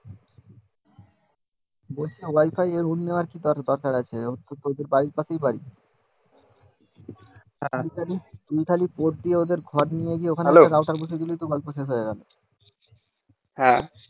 hello হ্যাঁ